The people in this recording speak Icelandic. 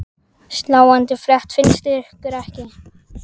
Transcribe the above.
Sláandi frétt finnst ykkur ekki?